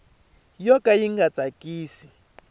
yo ka yi nga tsakisi